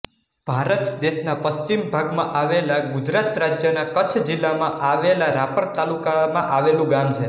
ભારત દેશના પશ્ચિમ ભાગમાં આવેલા ગુજરાત રાજ્યના કચ્છ જિલ્લામાં આવેલા રાપર તાલુકામા આવેલુ ગામ છે